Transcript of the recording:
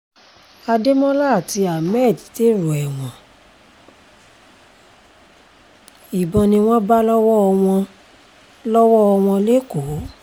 ademola àti hammed dèrò ẹ̀wọ̀n ìbọn ni wọ́n bá lọ́wọ́ wọn lọ́wọ́ wọn lẹ́kọ̀ọ́